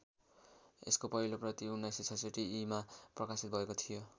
यसको पहिलो प्रति १९६६ ईमा प्रकाशित भएको थियो।